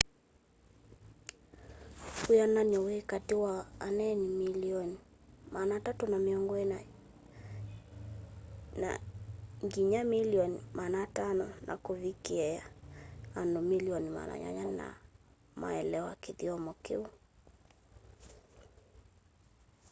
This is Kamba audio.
wĩanany'o wĩ katĩ wa aneeni milioni 340 ĩna nginya milioni 500 na kuvikiia andu milioni 800 no maelewa kĩthyomo kĩu